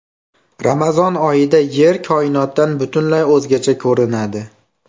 Ramazon oyida Yer koinotdan butunlay o‘zgacha ko‘rinadi .